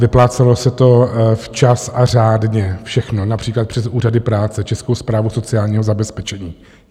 Vyplácelo se to včas a řádně všechno například přes úřady práce, Českou správu sociálního zabezpečení.